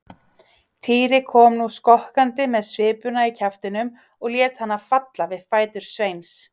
Týri kom nú skokkandi með svipuna í kjaftinum og lét hana falla við fætur Sveins.